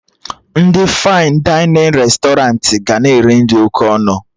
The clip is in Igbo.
Ndị fain dainịn restọranti ga na-ere nri oké ọnụ